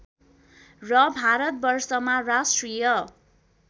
र भारतवर्षमा राष्ट्रिय